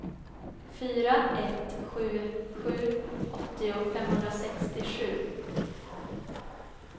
fyra ett sju sju åttio femhundrasextiosju